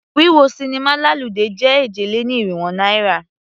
Wíwọ sinimá lálùdé jẹ́ èje-lé-ní-irínwó náírà.